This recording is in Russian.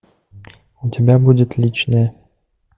у тебя будет личное